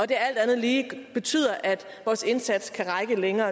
det alt andet lige betyder at vores indsats kan række længere